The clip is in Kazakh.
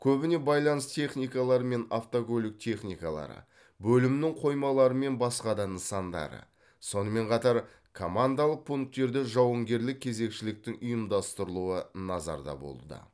көбіне байланыс техникалары мен автокөлік техникалары бөлімнің қоймалары мен басқа да нысандары сонымен қатар командалық пункттерде жауынгерлік кезекшіліктің ұйымдастырылуы назарда болды